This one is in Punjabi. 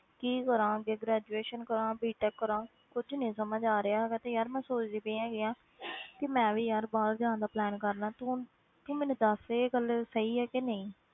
ਕੀ ਕਰਾਂ ਅੱਗੇ graduation ਕਰਾਂ B tech ਕਰਾਂ ਕੁਛ ਨੀ ਸਮਝ ਆ ਰਿਹਾ ਹੈਗਾ, ਤੇ ਯਾਰ ਮੈਂ ਸੋਚਦੀ ਪਈ ਹੈਗੀ ਹਾਂ ਕਿ ਮੈਂ ਵੀ ਯਾਰ ਬਾਹਰ ਜਾਣ ਦਾ plan ਕਰ ਲਵਾਂ ਤੂੰ, ਤੂੰ ਮੈਨੂੰ ਦੱਸ ਕਿ ਇਹ ਗੱਲ ਸਹੀ ਹੈ ਕਿ ਨਹੀਂ,